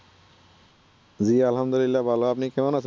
জি আলহামদুলিল্লাহ ভালো। আপনি কেমন আছেন?